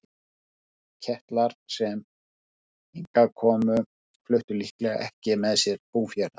Þeir Keltar sem hingað komu fluttu líklega ekki með sér búfénað.